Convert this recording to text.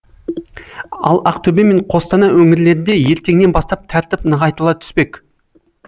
ал ақтөбе мен қостанай өңірлерінде ертеңнен бастап тәртіп нығайтыла түспек